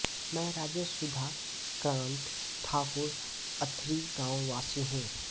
मैं राजेश सुधा कांत ठाकुर अथरी गांव वासी हूं